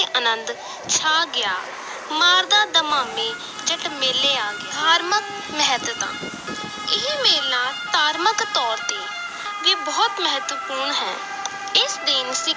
ਅਨੰਦ ਛਾ ਗਿਆ ਮਾਰਦਾ ਦਮਾਮੇ ਜੱਟ ਮੇਲੇ ਆ ਗਿਆ ਧਾਰਮਕ ਮਹੱਤਤਾ ਇਹ ਮੇਲਾ ਧਾਰਮਕ ਤੌਰ ਤੇ ਵੀ ਬਹੁਤ ਮਹੱਤਵਪੂਰਨ ਹੈ ਇਸ ਦਿਨ